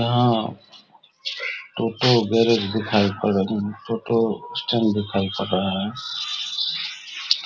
यहाँ टोटो गैराज दिखाई पड़ रहे है टोटो दिखाई पड़ रहा है ।